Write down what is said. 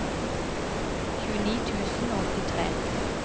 tjueni tusen og åttitre